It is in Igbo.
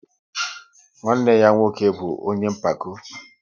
Nwanne ya nwoke bụ ọnye mpako